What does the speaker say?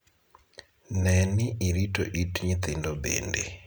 Ne ni irito it nyithindo bende.